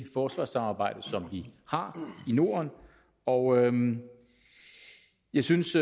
forsvarssamarbejde som vi har i norden og jeg synes